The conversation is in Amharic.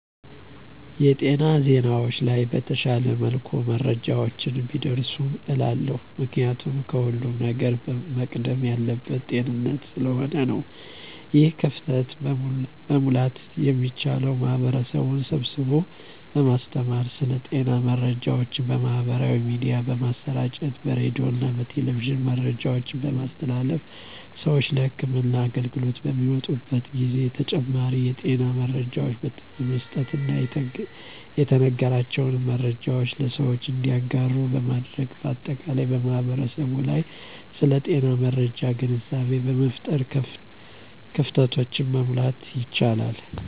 የጤና ዜናዎች ላይ በተሻለ መልኩ መረጃዎች ቢደርሱ እላለሁ። ምክንያቱም ከሁለም ነገር መቅደም ያለበት ጤንነት ስለሆነ ነው። ይህን ክፍተት መሙላት የሚቻለው ማህበረሰብን ስብስቦ በማስተማር ስለ ጤና መረጃዎች በማህበራዊ ሚዲያ በማሰራጨት በሬዲዮና በቴሌቪዥን መረጃዎችን በማስተላለፍ ስዎች ለህክምና አገልግሎት በሚመጡበት ጊዜ ተጨማሪ የጤና መረጃዎችን በመስጠትና የተነገራቸውን መረጃዎች ለሰዎች እንዲያጋሩ በማድረግ በአጠቃላይ በማህበረሰቡ ላይ ስለ ጤና መረጃ ግንዛቤ በመፍጠር ክፍተቶችን መሙላት ይቻላል።